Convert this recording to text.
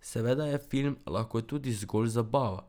Seveda je film lahko tudi zgolj zabava.